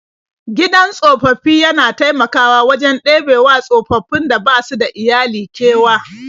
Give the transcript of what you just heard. Gidan tsofaffi yana taimakawa wajen ɗebewa tsofaffin da basu da iyali kewa.